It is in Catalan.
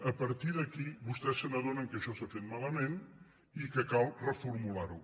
a partir d’aquí vostès s’adonen que això s’ha fet malament i que cal reformular ho